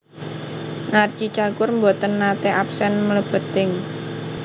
Narji Cagur mboten nate absen mlebet ing